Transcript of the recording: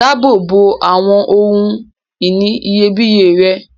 Dáàbò bo awọn ohun-ìní iyebíye rẹ.